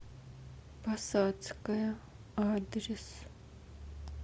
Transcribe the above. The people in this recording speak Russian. посадская адрес